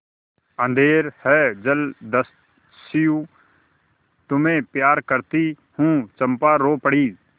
अंधेर है जलदस्यु तुम्हें प्यार करती हूँ चंपा रो पड़ी